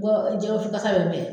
jɛgɛwusu kasa bɛ n fɛ.